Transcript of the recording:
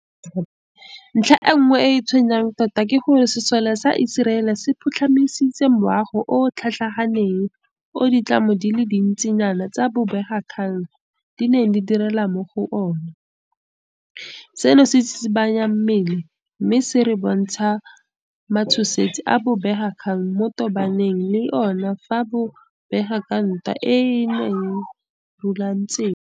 Ntlha e nngwe e e tshwenyang tota ke gore sesole sa Iseraele se phutlhamisitse moago o o tlhatlhaganeng o ditlamo di le dintsinyana tsa bobegakgang di neng di direla mo go ona, seno se tsitsibanya mmele mme se re bontsha matshosetsi a bobegakgang bo tobanang le ona fa bo bega ka ntwa eno e e runtseng.